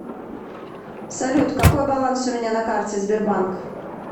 салют какой баланс у меня на карте сбербанк